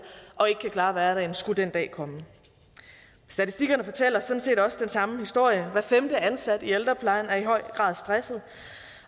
og ikke kan klare hverdagen skulle den dag komme statistikkerne fortæller sådan set også den samme historie hver femte ansatte i ældreplejen er i høj grad stresset